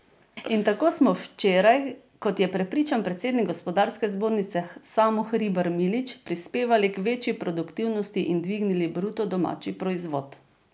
In tako smo včeraj, kot je prepričan predsednik gospodarske zbornice Samo Hribar Milič, prispevali k večji produktivnosti in dvignili bruto domači proizvod.